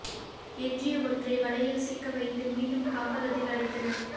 எஞ்சிய ஒன்றை வலையில் சிக்க வைத்து மீண்டும் காப்பகத்தில் அடைத்தனர்